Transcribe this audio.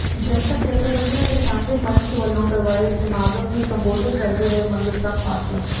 ਜਨਤਕ ਜਥੇਬੰਦੀਆਂ ਦੇ ਸਾਂਝੇ ਮੰਚ ਵਲੋਂ ਕਰਵਾਏ ਸਮਾਗਮ ਨੂੰ ਸੰਬੋਧਨ ਕਰਦੇ ਹੋਏ ਮੰਗਤ ਰਾਮ ਪਾਸਲਾ